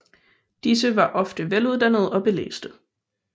Disse var ofte veluddannede og belæste